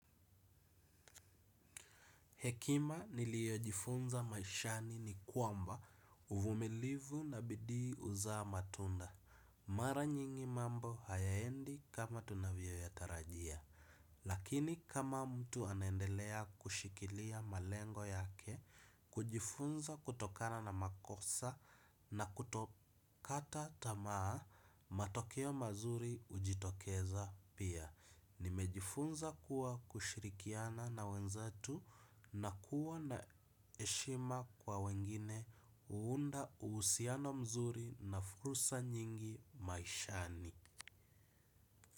Hekima niliojifunza maishani ni kwamba uvumilivu na bidii huzaa matunda. Mara nyingi mambo hayaendi kama tunavyo ya tarajia. Lakini kama mtu anaendelea kushikilia malengo yake, kujifunza kutokana na makosa na kutokata tamaa, matokeo mazuri hujitokeza pia. Nimejifunza kuwa kushirikiana na wenzetu na kuwa na heshima kwa wengine huunda uhusiano mzuri na fursa nyingi maishani.